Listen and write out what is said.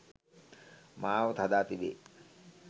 මාවත හදා තිබේ